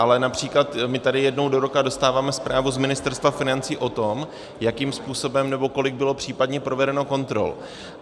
Ale například my tady jednou do roka dostáváme zprávu z Ministerstva financí o tom, jakým způsobem nebo kolik bylo případně provedeno kontrol.